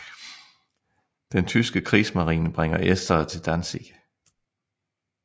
Den tyske krigsmarine bringer estere til Danzig